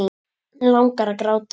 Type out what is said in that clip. Langar að gráta.